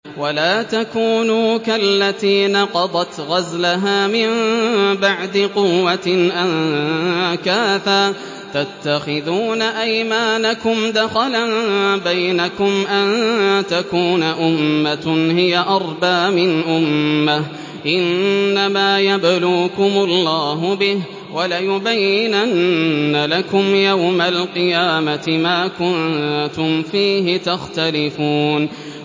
وَلَا تَكُونُوا كَالَّتِي نَقَضَتْ غَزْلَهَا مِن بَعْدِ قُوَّةٍ أَنكَاثًا تَتَّخِذُونَ أَيْمَانَكُمْ دَخَلًا بَيْنَكُمْ أَن تَكُونَ أُمَّةٌ هِيَ أَرْبَىٰ مِنْ أُمَّةٍ ۚ إِنَّمَا يَبْلُوكُمُ اللَّهُ بِهِ ۚ وَلَيُبَيِّنَنَّ لَكُمْ يَوْمَ الْقِيَامَةِ مَا كُنتُمْ فِيهِ تَخْتَلِفُونَ